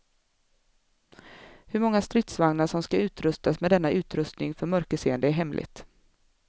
Hur många stridsvagnar som skall utrustas med denna utrustning för mörkerseende är hemligt.